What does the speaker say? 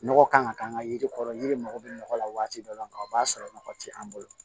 Nɔgɔ kan ka k'an ka yiri kɔrɔ yiri mago bɛ nɔgɔ la waati dɔ la o b'a sɔrɔ nɔgɔ tɛ an bolo